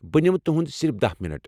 بہٕ نمہٕ تہنٛد صرف دہہ منٹ۔